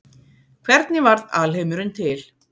hvernig varð alheimurinn til